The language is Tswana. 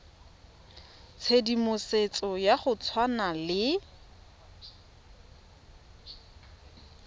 tshedimosetso ya go tshwana le